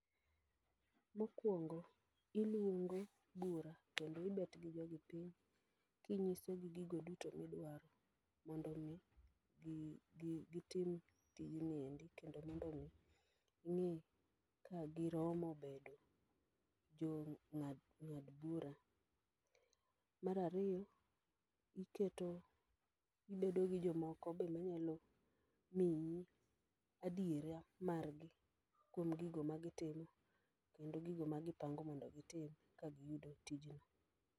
Mokwongo iluongo bura kendo ibet gi jogi piny kingi'so gi gigo duto midwaro mondo mi gi gitim tijni endi kendo mondo mi ing'e ka giromo bedo jo jong'ad bura. Mar ariyo , iketo gibeto gi jomo ko be manyalo margi kuom gigo ma gitimo kendo gigo ma gipango mondo gitim ka gin e tijni.